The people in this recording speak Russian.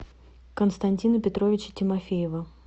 константина петровича тимофеева